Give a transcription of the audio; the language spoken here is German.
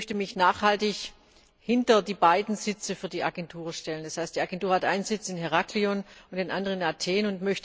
Ich möchte mich nachhaltig hinter die beiden Sitze für die Agentur stellen. Das heißt, die Agentur hat einen Sitz in Heraklion und den anderen in Athen.